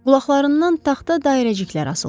Qulaqlarından taxta dairəciklər asılmışdı.